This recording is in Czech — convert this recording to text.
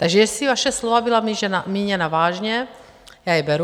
Takže jestli vaše slova byla míněna vážně, já je beru.